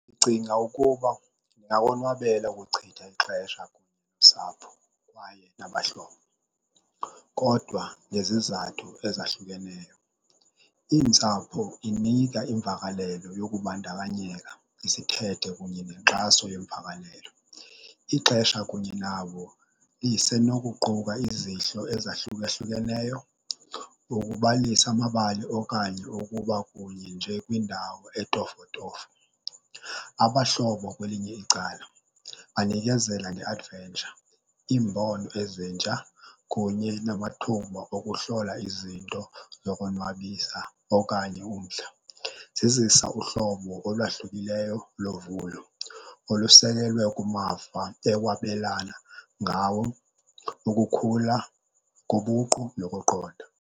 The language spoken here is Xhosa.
Ndicinga ukuba ndingawonwabela ukuchitha ixesha nosapho kwaye nabahlobo, kodwa ngezizathu ezahlukeneyo. Iintsapho inika imvakalelo yokubandakanyeka isithethe kunye nenkxaso yemvakalelo. Ixesha kunye nabo lisenokuquka izihlo ezahlukahlukeneyo, ukubalisa amabali okanye ukuba kunye nje kwindawo etofotofo. Abahlobo kwelinye icala banikezela nge-adventure, iimbono ezintsha kunye namathuba wokuhlola izinto zokonwabisa okanye umdla. Zizisa uhlobo olwahlukileyo lovuyo olusekelwe kumava ewabelana ngawo, ukukhula kobuqu nokuqonda.